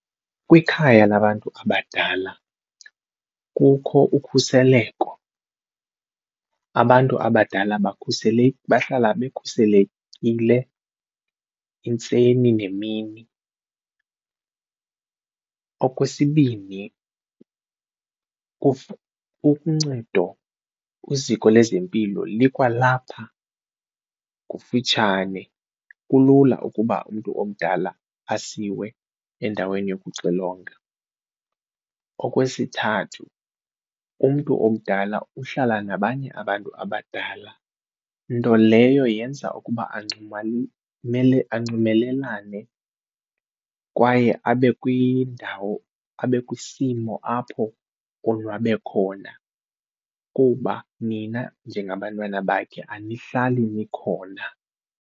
Kwikhaya labantu abadala kukho ukhuseleko, abantu abadala bahlala bekhuselekile intseni nemini. Okwesibini uncedo kwiziko lezempilo likwalapha kufitshane kulula ukuba umntu omdala asiwe endaweni yokuxilonga. Okwesithathu umntu omdala uhlala nabanye abantu abadala nto leyo yenza ukuba anxumelelane kwaye abe kwindawo abe kwisimo apho onwabe khona kuba nina njengabantwana bakhe anihlali nikhona.